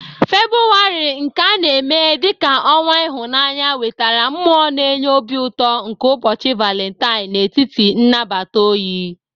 Febụwarị, nke a na-eme dị ka ọnwa ịhụnanya, wetara mmụọ na-enye obi ụtọ nke ụbọchị Valentine n'etiti nnabata oyi